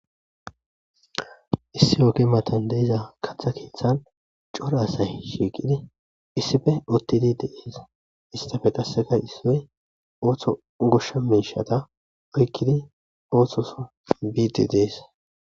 Issi ooki matan d'iza katha keeththan cora asay shiiqidi issife oottidi deees istafe qasseka issipoy ooththo goshsha miishata oykkidi ooththoso biidi dees